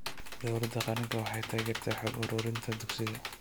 Dawladda qaranka, waxay taageertaa xog ururinta dugsiyada.